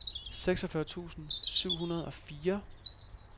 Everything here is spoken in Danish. seksogfyrre tusind syv hundrede og fire